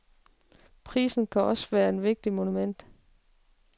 Prisen kan også være et vigtigt moment.